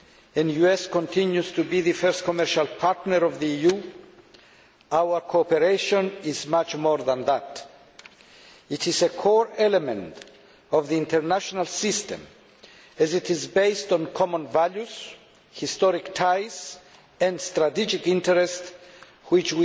and the US continues to be the first commercial partner of the EU, our cooperation is much more than that it is a core element of the international system as it is based on common values, historic ties and strategic interests, which